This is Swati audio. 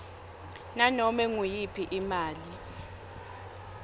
nanome nguyiphi imali